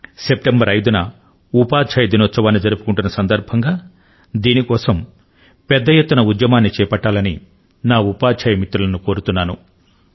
September 5 వ తేదీ న ఉపాధ్యాయ దినోత్సవాన్ని జరుపుకొనే సందర్భం లో దీని కోసం పెద్ద ఎత్తున ఉద్యమాన్ని చేపట్టాలని నా ఉపాధ్యాయ మిత్రుల ను కోరుతున్నాను